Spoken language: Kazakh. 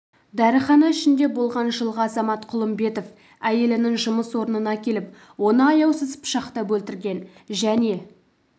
дәріхана ішінде болған жылғы азамат құлымбетов әйелінің жұмыс орнына келіп оны аяусыз пышақтап өлтірген және